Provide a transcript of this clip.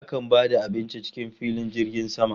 Akan ba da abinci cikin jirgin sama